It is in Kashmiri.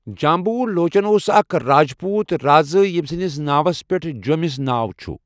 جامبو لوچَن اوس اَکھ راجپوٗت رازا یَمہِ سٕندِس ناوس پؠٹھ جۆمِس ناو چھُ.